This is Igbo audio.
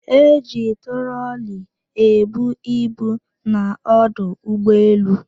E ji trọọli ebu ibu n'ọdụ ụgbọelu.